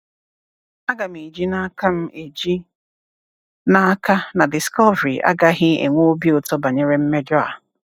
Aga m eji n'aka m eji n'aka na Discovery agaghị enwe obi ụtọ banyere mmejọ a.